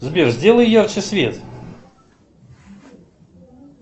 сбер сделай ярче свет